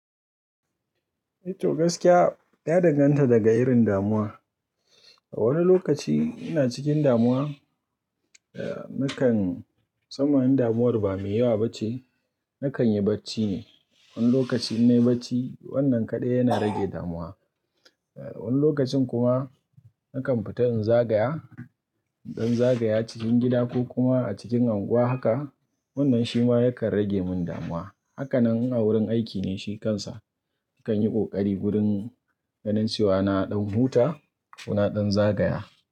To gaskiya ya danganta daga irin damuwa. A wani lokaci ina cikin damuwa, nakan-- Musamman in damuwar ba mai yawa bace, nakan yi bacci ne. Wani lokaci in nayi bacci wannan kaɗai yana rage damuwa. Wani lokacin kuma nakan fita in zagaya, don zagaya cikin gida ko kuma a cikin unguwa haka. Wannan shi ma yakan rage mun damuwa. Haka nan a wurin aiki ne shi kansa Nakan yi ƙoƙari wurin ganin cewa na ɗan huta ko na ɗan zagaya.